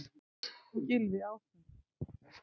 Gylfi Ásmundsson.